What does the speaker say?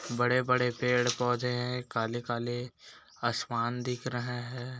बड़े- बड़े पेड़ पौधे हैं काले-काले आसमान दिख रहे हैं।